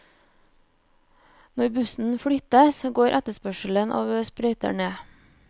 Når bussen flyttes, går etterspørselen av sprøyter ned.